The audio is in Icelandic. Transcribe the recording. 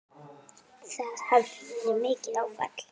Það hafi verið mikið áfall.